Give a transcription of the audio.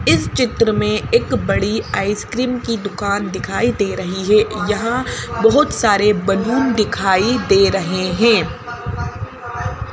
इस चित्र में एक बड़ी आइसक्रीम की दुकान दिखाई दे रही है यहाँ बहुत सारे बैलून दिखाई दे रहे हैं।